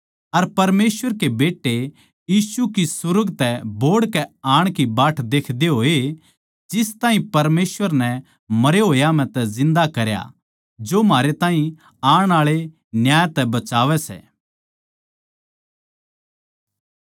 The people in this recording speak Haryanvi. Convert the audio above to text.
अर परमेसवर के बेट्टे यीशु की सुर्ग तै बोहड़ के आण की बाट देखदे होए जिस ताहीं परमेसवर नै मरे होयां म्ह तै जिन्दा करया जो म्हारै ताहीं आण आळे न्याय तै बचावै सै